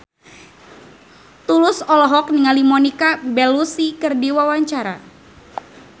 Tulus olohok ningali Monica Belluci keur diwawancara